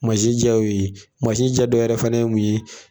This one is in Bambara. Masi ja y'o ye, masi ja dɔ wɛrɛ fana ye mun ye